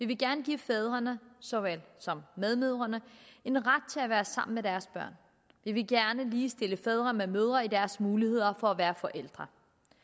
vi gerne give fædrene såvel som medmødrene en ret til at være sammen med deres børn vi vil gerne ligestille fædre med mødre til deres muligheder for at være forældre